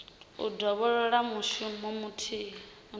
u dovholola mushumo muthihi une